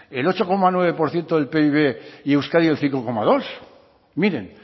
el ocho coma nueve por ciento del pib y euskadi el cinco coma dos miren